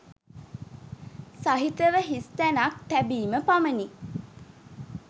සහිතව හිස් තැනක් තැබීම පමණි.